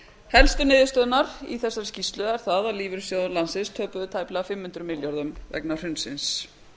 helstu niðurstöðurnar í þessari skýrslu eru þær að lífeyrissjóðir landsins töpuðu tæplega fimm hundruð milljörðum vegna hrunsins